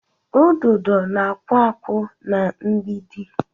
Ududo na-akpụ akpụ na-mgbidi.